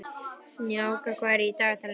Snjáka, hvað er í dagatalinu í dag?